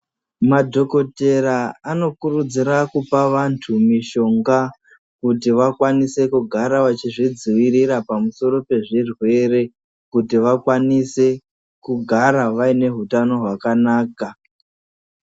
Madhokotera anokurudzira kupa vantu mishonga kuti vakwanise kugara vachizvidzivirira pamusoro pezvirwere kuti vakwanise kugara vaine hutano hwakanaka.